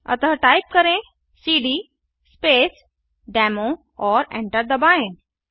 अतः टाइप करें CD space demo और एन्टर दबाएँ